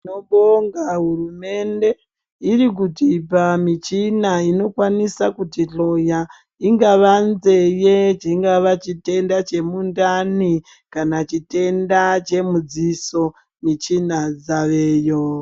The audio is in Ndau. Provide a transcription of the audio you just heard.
Tinobonga hurumende irikutipa michina unokwanisa kuti hloya ingava nzeye chingava chitenda chemundani kana chitenda chemudziso michina dzaveyo.